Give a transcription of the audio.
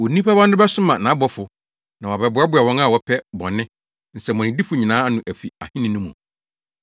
Onipa Ba no bɛsoma nʼabɔfo, na wɔabɛboaboa wɔn a wɔpɛ bɔne, nsɛmmɔnedifo nyinaa ano afi Ahenni no mu,